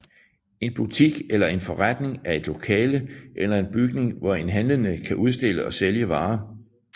En butik eller en forretning er et lokale eller en bygning hvor en handlende kan udstille og sælge varer